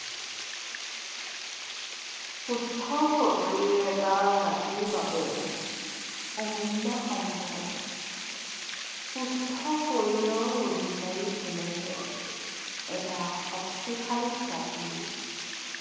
শৰীৰ এটা জাতিৰ বাবে অমূল্য সম্পদ। সুস্থ শৰীৰৰ অধিকাৰী হলেহে এটা শক্তিশালী জাতি